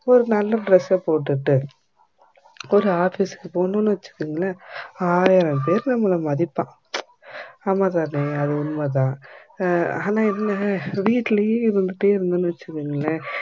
ஒரு நல்ல dress ஆ போட்டுக்கிட்டு ஒரு office க்கு போனோம் வச்சிக்கோங்கள ஆயிரம் பேர் நம்பள மதிப்பான் ஆமாந்தானே அது உண்மதான் அஹ் ஆனா என்ன வீட்டுலே இருந்துட்டே இருதோம் வச்சிக்கோங்கள